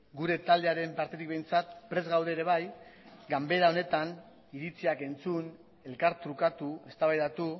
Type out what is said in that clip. gure taldearen partetik behintzat prest gaude ere bai ganbara honetan iritziak entzun elkartrukatu eztabaidatu